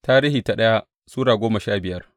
daya Tarihi Sura goma sha biyar